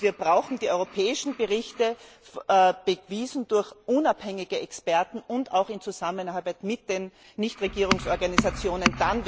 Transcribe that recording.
Wir brauchen die europäischen Berichte, bewiesen durch unabhängige Experten, auch in Zusammenarbeit mit den Nichtregierungsorganisationen.